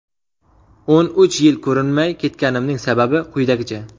O‘n uch yil ko‘rinmay ketganimning sababi quyidagicha.